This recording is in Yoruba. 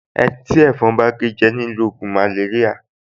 Ẹni tí ẹ̀fọn bá gé jẹ ni ó ń lo ògùn màléríà